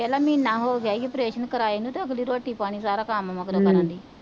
ਆ ਦੇਖ ਲੈ ਮੀਨਾ ਹੋ ਗਿਆ ਏ ਓਪਰੇਸ਼ਨ ਕਰਾਏ ਨੂੰ ਤੇ ਅਗਲੀ ਰੋਟੀ ਪਾਣੀ ਪੂਰਾ ਕਮ ਮਗਰੋਂ ਬਣਾਂਦੀ,